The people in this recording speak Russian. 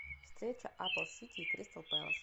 встреча апл сити и кристал пэлас